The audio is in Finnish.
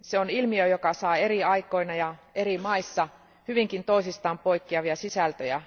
Se on ilmiö, joka saa eri aikoina ja eri maissa hyvinkin toisistaan poikkeavia sisältöjä.